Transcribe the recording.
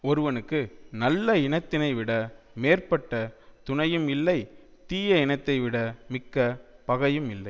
ஒருவனுக்கு நல்ல இனத்தினைவிட மேற்பட்ட துணையும் இல்லை தீய இனத்தைவிட மிக்க பகையும் இல்லை